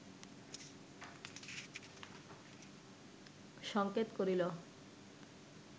সংকেত করিল